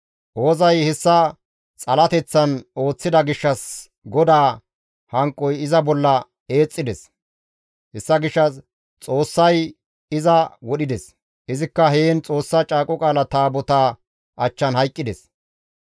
Oozay hessa xalateththan ooththida gishshas GODAA hanqoy iza bolla eexxides; hessa gishshas Xoossay iza wodhides; izikka heen Xoossa Caaqo Qaala Taabotaa achchan hayqqides.